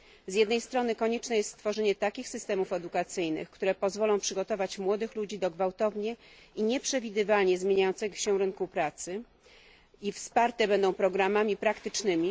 Z jednej strony konieczne jest stworzenie takich systemów edukacyjnych, które pozwolą przygotować młodych ludzi do gwałtownie i nieprzewidywalnie zmieniającego się rynku pracy i będą wsparte programami praktycznymi.